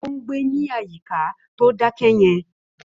Ó ń gbé ní àyíká tó dákẹ́ yẹn.